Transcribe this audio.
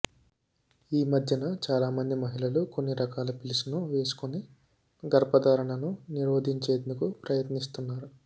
ఈ మధ్యన చాలా మంది మహిళలు కొన్ని రకాల పిల్స్ ను వేసుకుని గర్భధారణను నిరోధించేందుకు ప్రయత్నిస్తున్నారు